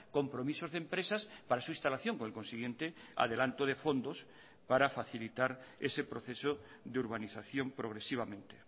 compromisos de empresas para su instalación con el consiguiente adelanto de fondos para facilitar ese proceso de urbanización progresivamente